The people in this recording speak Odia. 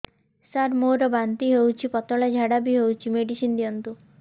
ସାର ମୋର ବାନ୍ତି ହଉଚି ପତଲା ଝାଡା ବି ହଉଚି ମେଡିସିନ ଦିଅନ୍ତୁ